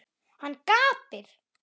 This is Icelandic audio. Hann gapir.